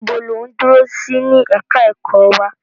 Níbo lò ń dúró sí ní ẹ̀ka ẹ̀kọ́ wa?